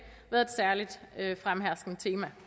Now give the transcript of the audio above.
været et særligt fremherskende tema